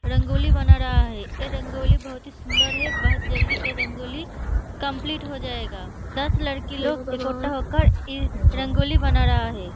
रंगोली बना रहा है। एह रंगोली बहुत ही सुंदर है। बहोत जल्दी एह रंगोली कम्पलीट हो जायेगा। दस लड़की लोग इकोट्टा होकर इ रंगोली बना रहा है।